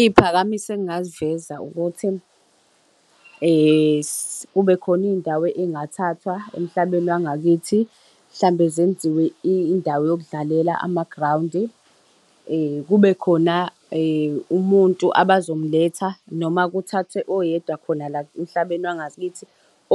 Iy'phakamiso engingaziveza ukuthi kube khona iy'ndawo ey'ngathathwa emhlabeni wangakithi mhlawumbe zenziwe indawo zokudlalela amagrawundi. Kube khona umuntu abazomletha noma kuthathwe oyedwa khona la emhlabeni wangakithi